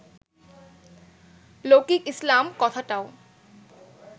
লৌকিক ইসলাম কথাটাও